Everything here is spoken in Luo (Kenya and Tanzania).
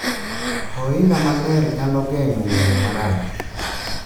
Ohinga maler nyalo geng'o ng'eyo marach